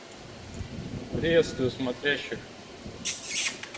приветствую смотрящих